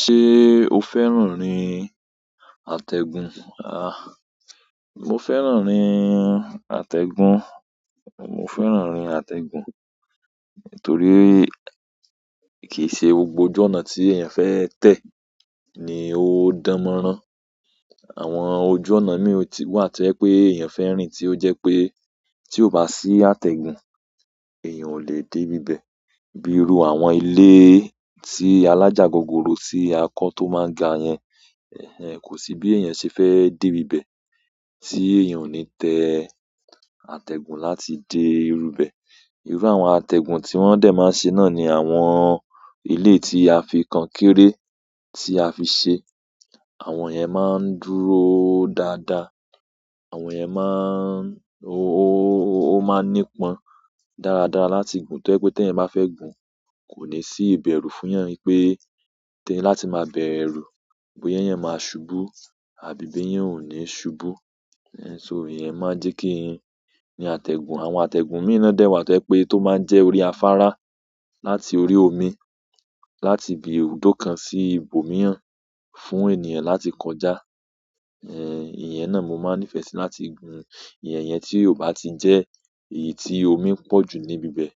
Ṣé o fẹ́ràn rin àtẹ̀gùn? À, mo fẹ́ràn rin àtẹ̀gùn, mo fẹ́ràn rin àtẹ̀gùn torí kìí ṣe gbogbo ojú ọ̀nà tí èèyàn fẹ́ tẹ̀ ni ó dánmọ́rán. Àwọn ojú ọ̀nà mìí wà ti ó jẹ pé èèyàn fin rìn tí ó jẹ́ pé tí ó bá sí àtẹ̀gùn, èèyàn ò lè dé ibíbẹ̀. Bíi irú àwọn ilé tí alájagogoro tí a kọ tó máa n ga yẹn, ẹhn, kò sí bí èèyàn ṣe fẹ́ dé bíbẹ̀ tí èèyàn ò ní tẹ àtẹ̀gùn láti dé irúbẹ̀. Irú àwọn àtẹ̀gùn tí wọ́n dẹ̀ máa ń ṣe náà ni àwọn elé yi tí a fi kankéré tí a fi ṣe. Àwọn iyen maa n dúró daada àwọn yen maa n o maa n nípọn dáradára láti gun to jepe ti eeyan ba fe gun kò ní sí ìbẹ̀rù fún eyan wipé tẹ́ẹ̀ láti máa bẹ̀rù, boya eyẹn máa ṣubú àbí ibi yẹn ò ní ṣubú. Ẹhn, ṣo ìyẹn máa n jẹ́ kí n rin àtẹ̀gùn. Àwọn àtẹ̀gùn mìí na dẹ̀ wà tó maa n jẹ pé tó máa ń jẹ́ pe orí afárá láti orí omi, láti ibi ibùdó kan sí ibòmíràn fún ènìyàn láti kọjá. Ẹhn, ìyẹn náà mo máa ń nífẹ̀ẹ́ síi láti gun. Ìyẹn iyẹn tí ó bá ti jẹ́ èyí tí omi pọ̀jù ní ibíbẹ̀,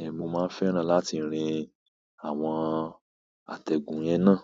ẹhn mo máa ń fẹ́ràn láti rin àwọn àtẹ̀gùn yẹn náà.